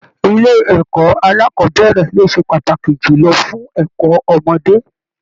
Ilé ẹ̀kọ́ alákọ̀bẹ̀rẹ̀ ló ṣe pàtàkì julọ fún ẹ̀kọ́ ọmọdé.